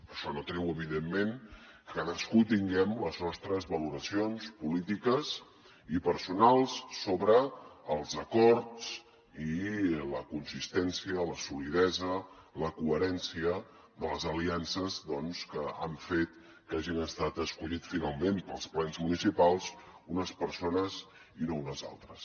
això no treu evidentment que cadascú tinguem les nostres valoracions polítiques i personals sobre els acords i la consistència la solidesa la coherència de les aliances doncs que han fet que hagin estat escollits finalment pels plens municipals unes persones i no unes altres